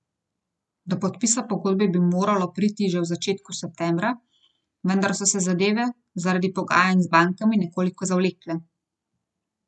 Do podpisa pogodbe bi moralo priti že v začetku septembra, vendar so se zadeve zaradi pogajanj z bankami nekoliko zavlekle.